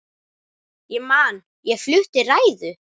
Ég man ég flutti ræðu.